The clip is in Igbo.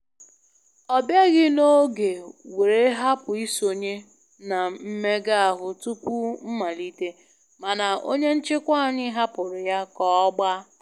Ọ bịaghị na oge were hapụ isonye na mmega ahụ tupu mmalite, mana onye nchịkwa anyị hapụrụ ya ka ọ gbaa